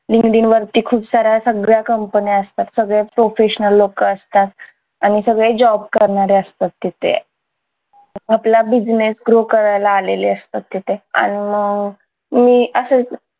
linkedin वरती खूप साऱ्या सगळ्या कंपन्या असतात सगळे professional लोकं असतात आणि सगळे job करणारे असतात तिथे आपला business grow करायला आलेले असतात तिथं आणि मग मी असच